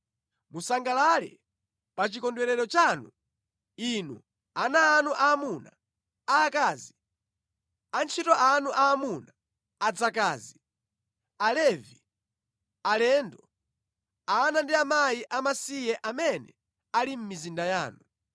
Musangalale pa chikondwerero chanu, inu, ana anu aamuna, aakazi, antchito anu aamuna, adzakazi, Alevi, alendo, ana ndi akazi amasiye amene ali mʼmizinda yanu.